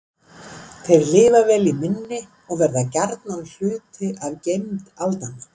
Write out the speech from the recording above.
Þeir lifa vel í minni og verða gjarnan hluti af geymd aldanna.